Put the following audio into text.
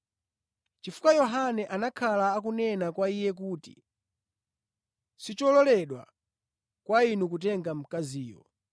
Chifukwa Yohane anakhala akunena kwa iye kuti, “Sichololedwa kwa inu kutenga mkaziyo.”